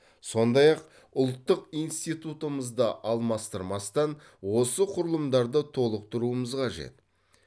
сондай ақ ұлттық институтымызды алмастырмастан осы құрылымдарды толықтыруымыз қажет